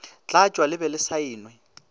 tlatšwa le be le saenwe